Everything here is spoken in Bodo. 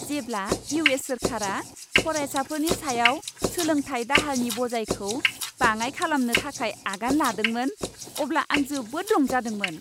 जेब्ला इउ.एस. सोरखारा फरायसाफोरनि सायाव सोलोंथाय दाहारनि बजायखौ बाङाइ खालामनो थाखाय आगान लादोंमोन, अब्ला आं जोबोद रंजादोंमोन।